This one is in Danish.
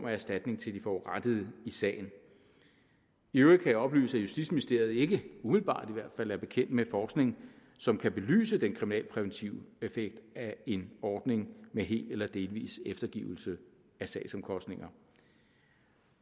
af erstatning til de forurettede i sagen i øvrigt kan jeg oplyse at justitsministeriet ikke umiddelbart i hvert fald er bekendt med forskning som kan belyse den kriminalpræventive effekt af en ordning med hel eller delvis eftergivelse af sagsomkostninger